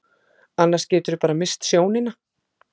Annars geturðu bara misst sjónina.